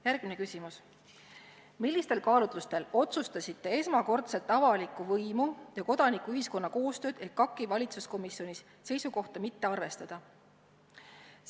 Järgmine küsimus: "Millistel kaalutlustel otsustasite esmakordset avaliku võimu ja kodanikuühiskonna koostöös EKAK-i valitsuskomisjoni seisukohta mitte arvestada?